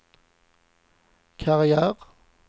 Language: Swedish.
karriär